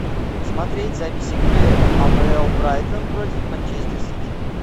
смотреть запись игры апл брайтон против манчестер сити